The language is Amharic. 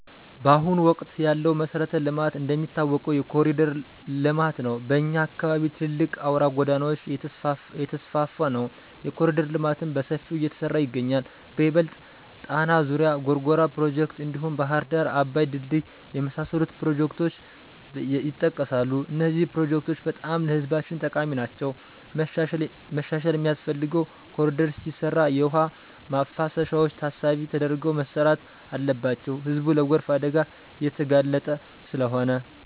ባሁኑ ወቅት ያለው መሠረተ ልማት እንደሚታወቀው የኮሪደር ለማት ነው። በኛ አካባቢም ትልልቅ አውራ ጎዳናወች እየተስፍፋ ነው። የኮሪደር ልማትም በሠፊው እየተሠራ ይገኛል በይበልጥ ጣና ዙሪያ፣ ጎርጎራ ፕሮጀክቶች፣ አዲሡ ባህር ዳር አባይ ድልድይ የመሣሠሉት ፕሮጀክቶች የጠቀሣሉ። እነዚህ ፕሮጀክቶች በጣም ለህዝባችን ጠቃሚ ናቸዉ። መሻሻል ሚያስፈልገው ኮሪደር ሲሰራ የውሃ ማፋሰሻዎች ታሣቢ ተደርገው መሠራት አለባቸው ህዝቡ ለጎርፍ አደጋ እየተጋለጠ ስለሆነ።